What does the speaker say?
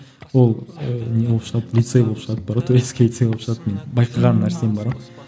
ол ыыы не болып шығады лицей болып шығады бар ғой турецкий лицей болып шығады менің байқаған нәрсем бар ғой